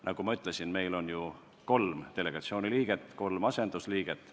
Nagu ma ütlesin, meil on ju kolm delegatsiooni liiget ja kolm asendusliiget.